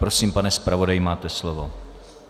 Prosím, pane zpravodaji, máte slovo.